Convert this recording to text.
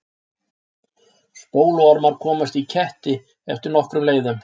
spóluormar komast í ketti eftir nokkrum leiðum